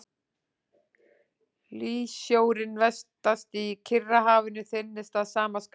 Hlýsjórinn vestast í Kyrrahafinu þynnist að sama skapi.